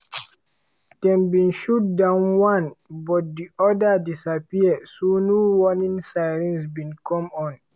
dem bin shoot down one but di oda disappear so no warning sirens bin come on.